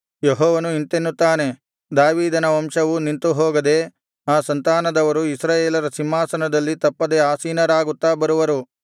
ಯೆಹೋವನು ಇಂತೆನ್ನುತ್ತಾನೆ ದಾವೀದನ ವಂಶವು ನಿಂತು ಹೋಗದೆ ಆ ಸಂತಾನದವರು ಇಸ್ರಾಯೇಲರ ಸಿಂಹಾಸನದಲ್ಲಿ ತಪ್ಪದೆ ಆಸೀನರಾಗುತ್ತಾ ಬರುವರು